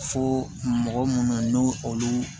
Fo mɔgɔ munnu olu